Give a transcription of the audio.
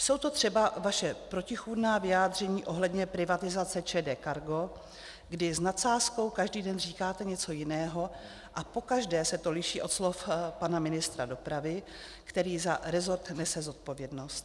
Jsou to třeba vaše protichůdná vyjádření ohledně privatizace ČD Cargo, kdy s nadsázkou každý den říkáte něco jiného a pokaždé se to liší od slov pana ministra dopravy, který za rezort nese zodpovědnost.